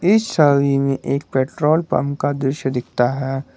इस छवि में एक पेट्रोल पंप का दृश्य दिखता है।